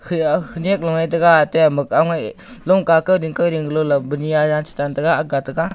khayah khnyak loye taga ate ama aongaih lungka kauding kauding galo la buni anya chichan taga ag taga.